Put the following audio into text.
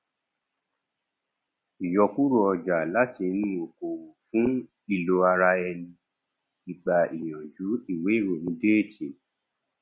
ìyọkúrò ọjà láti inú okòwò fún ìlò ara ẹni igba ìyànjú ìwé ìròyìn déètì